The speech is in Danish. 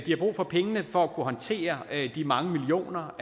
har brug for pengene for at kunne håndtere de mange millioner